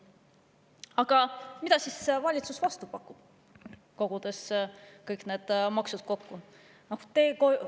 Aga mida siis valitsus vastu pakub pärast kõigi nende maksude kokku kogumist?